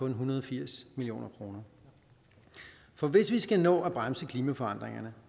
en hundrede og firs million kroner for hvis vi skal nå at bremse klimaforandringerne